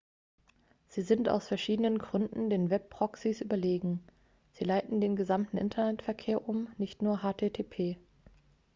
sie sind aus verschiedenen gründen den web-proxies überlegen sie leiten den gesamten internetverkehr um nicht nur http